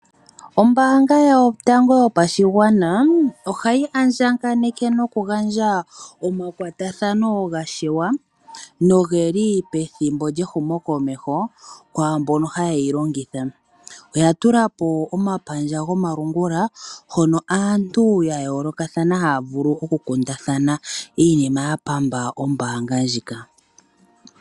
Ombaanga Yotango Yopashigwana ohayi andjaganeke nokugandja omakwatathano ga shewa noge li pethimbo lyehumokomeho kwaa mbono haye yi longitha. Oya tula po omapandja gomalungula hono aantu ya yoolokathana haya vulu okukundathana iinima ya pamba ombaanga ndjika.